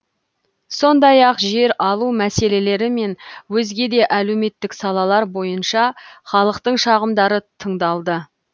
сондай ақ жер алу мәселелері мен өзге де әлеуметтік салалар бойынша халықтың шағымдары тыңдалды